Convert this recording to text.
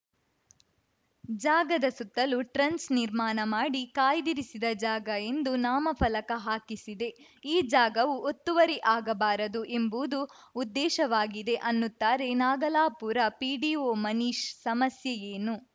ಜಾಗದ ಸುತ್ತಲೂ ಟ್ರಂಚ್‌ ನಿರ್ಮಾಣ ಮಾಡಿ ಕಾಯ್ದಿರಿಸಿದ ಜಾಗ ಎಂದು ನಾಮ ಫಲಕ ಹಾಕಿಸಿದೆ ಈ ಜಾಗವು ಒತ್ತುವರಿ ಆಗಬಾರದು ಎಂಬುವುದು ಉದ್ದೇಶವಾಗಿದೆ ಅನ್ನುತ್ತಾರೆ ನಾಗಲಾಪುರ ಪಿಡಿಒ ಮನೀಶ್‌ ಸಮಸ್ಯೆ ಏನು